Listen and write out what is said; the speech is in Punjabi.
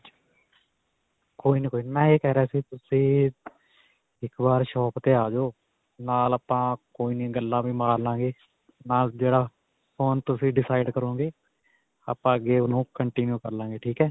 ਕੋਈ ਨਹੀਂ, ਕੋਈ ਨਹੀਂ. ਮੈਂ ਇਹ ਕਿਹ ਰਿਹਾ ਸੀ ਤੁਸੀਂ ਇੱਕ ਵਾਰ shop 'ਤੇ ਆ ਜਵੋ, ਨਾਲ ਆਪਾਂ ਕੋਈ ਨਹੀਂ ਗੱਲਾਂ ਵੀ ਮਾਰ ਲਵਾਂਗੇ, ਨਾਲ ਜਿਹੜਾ phone ਤੁਸੀਂ decide ਕਰੋਗੇ ਆਪਾਂ ਅੱਗੇ ਓਹਨੂੰ continue ਕਰ ਲਾਵਾਂਗੇ. ਠੀਕ ਹੈ.